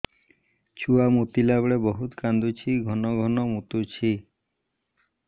ଛୁଆ ମୁତିଲା ବେଳେ ବହୁତ କାନ୍ଦୁଛି ଘନ ଘନ ମୁତୁଛି